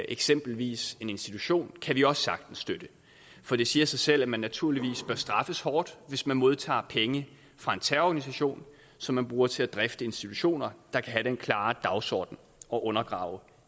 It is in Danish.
eksempelvis en institution kan vi også sagtens støtte for det siger sig selv at man naturligvis bør straffes hårdt hvis man modtager penge fra en terrororganisation som man bruger til at drifte institutioner der kan have den klare dagsorden at undergrave